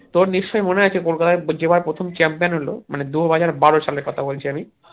তোর নিশ্চই মনে আছে কলকাতা যে বার প্রথম champion হলো মানে দুহাজার বারো সালের কথা বলছি আরকি